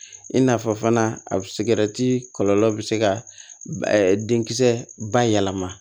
I n'a fɔ fana a kɔlɔlɔ bɛ se ka denkisɛ bayɛlɛma